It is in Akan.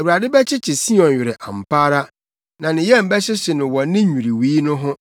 Awurade bɛkyekye Sion werɛ ampa ara na ne yam bɛhyehye no wɔ ne nnwiriwii no ho;